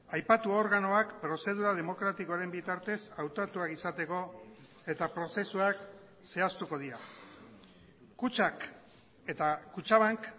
aipatu organoak prozedura demokratikoaren bitartez hautatuak izateko eta prozesuak zehaztuko dira kutxak eta kutxabank